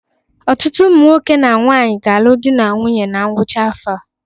Ọtụtụ ụmụ nwoke na nwaanyị ga-alụ di na nwunye na ngwụcha afọ a.